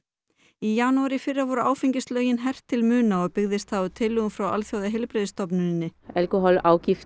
í janúar í fyrra voru áfengislögin hert til muna og byggðist það á tillögum frá Alþjóðaheilbrigðisstofnuninni